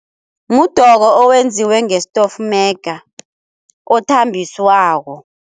Mudoko owenziwe ngestofmega othambiswako.